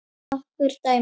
Nokkur dæmi?